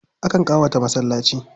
Akan ƙawata masallaci.